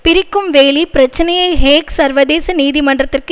பிரிக்கும் வேலி பிரச்சினையை ஹேக் சர்வதேச நீதிமன்றத்திற்கு